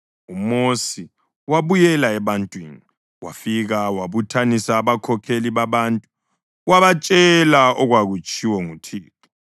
UMosi wabuyela ebantwini, wafika wabuthanisa abakhokheli babantu wabatshela okwakutshiwo nguThixo.